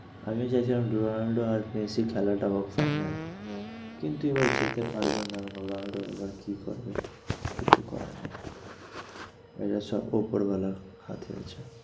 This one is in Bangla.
আমি চাইছিলাম রোলান্ড আর মেসির খেলাটা হোক final কিন্তু এবার যেতে পারলো না। রোলান্ড এবার কি করবে কিছু করার নেই।